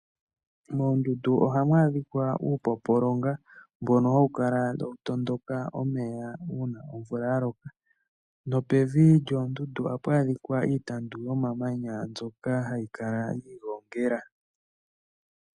Moondundu ohamu adhika uupompolonga mbono hawu kala tawu tondoka omeya uuna omvula ya loka nopevi lyoondundu ohapu adhika iitandu yomamanya mbyoka hayi kala yi igongela.